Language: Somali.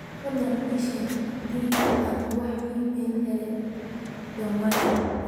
fadhlan ii sheeg adii aan wax iimayl ah helay dhawaan